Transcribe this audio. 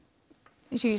eins og ég